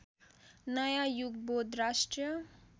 नयाँ युगबोध राष्ट्रिय